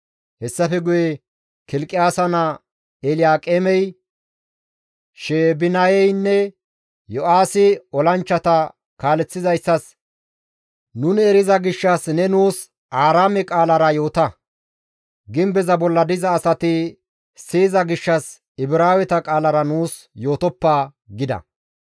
Hessafe guye Kilqiyaasa naa Elyaaqeemey, Sheebinaynne Yo7aahi olanchchata kaaleththizayssas, «Nuni eriza gishshas ne nuus Aaraame qaalara yoota; gimbeza bolla diza asati siyiza gishshas Ibraaweta qaalara nuus yootoppa» gida.